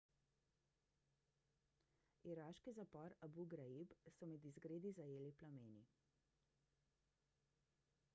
iraški zapor abu ghraib so med izgredi zajeli plameni